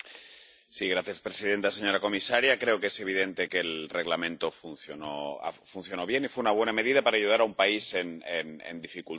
Señora presidenta señora comisaria, creo que es evidente que el Reglamento funcionó bien y fue una buena medida para ayudar a un país en dificultades.